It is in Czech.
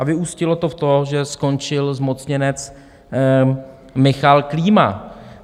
A vyústilo to v to, že skončil zmocněnec Michal Klíma.